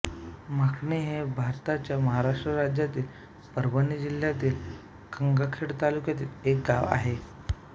माखणी हे भारताच्या महाराष्ट्र राज्यातील परभणी जिल्ह्यातील गंगाखेड तालुक्यातील एक गाव आहे